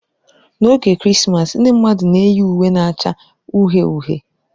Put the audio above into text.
N'oge Krismas ndị mmadụ na-eyi uwe na-acha uhie uhie.